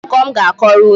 Kedu akụkọ m ga-akọrọ unu?